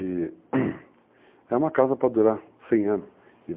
E é uma casa pra durar 100 anos,